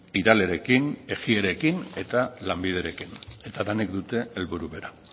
iralerekin ejierekin eta lanbiderekin eta denek dute helburu bera